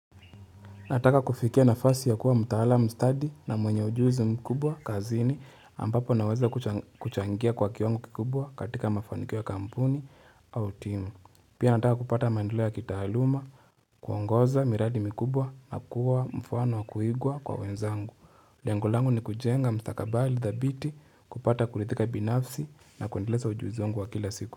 Nataka kufikia nafasi ya kuwa mtaala mstadi na mwenye ujuzi mkubwa kazini ambapo naweza kuchangia kwa kiwango kikubwa katika mafanikiwa kampuni au timu. Pia nataka kupata maendelea ya kitaaluma, kuongoza miradi mikubwa na kuwa mfano wa kuigwa kwa wenzangu. Lengo langu ni kujenga mstakabali dhabiti kupata kuridhika binafsi na kuendeleza ujuzi wangu wa kila siku.